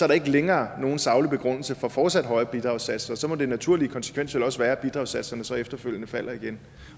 der ikke længere nogen saglig begrundelse for fortsat høje bidragssatser så må den naturlige konsekvens vel også være at bidragssatserne så efterfølgende falder igen